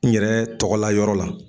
N yɛrɛ tɔgɔla yɔrɔ la.